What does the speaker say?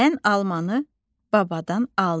Mən almanı babadan aldım.